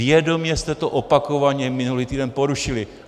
Vědomě jste to opakovaně minulý týden porušili.